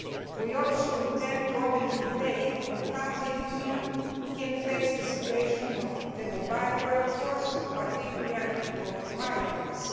We also intend to open a debate on how the Union can face the situation of the mobile workforce, and particularly of migrants.